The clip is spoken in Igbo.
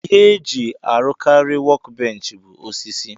Ihe eji arụkari wọk benchi bu osisi.